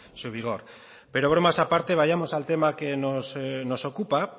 su vigor pero bromas aparte vayamos al tema que nos ocupa